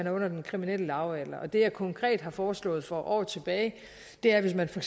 er under den kriminelle lavalder det jeg konkret har foreslået for år tilbage er at hvis man for